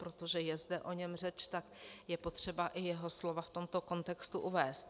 Protože je zde o něm řeč, tak je potřeba i jeho slova v tomto kontextu uvést.